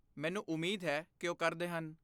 ਮੈਨੂੰ ਉਮੀਦ ਹੈ ਕਿ ਉਹ ਕਰਦੇ ਹਨ।